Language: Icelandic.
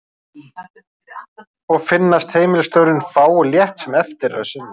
Og finnast heimilisstörfin fá og létt sem eftir er að sinna.